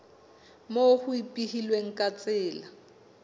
moo ho ipehilweng ka tsela